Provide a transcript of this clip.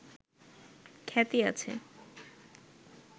খ্যাতি আছে